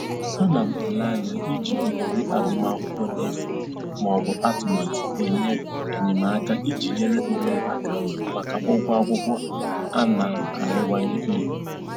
Ana m ele anya iji ohere agụmakwụkwọ n'efu maọbụ atụmatụ enyemaka iji nyere onwe m aka maka ụgwọ akwụkwọ a na-arịwanye elu